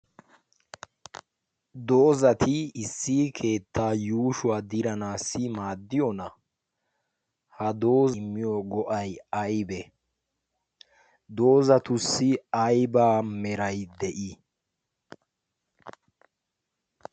Doozati issi keettaa yuushshuwa diranassi maaddiyoona? Ha doozay immiyo go''ay aybbe? Doozatussi aybba meray de'i?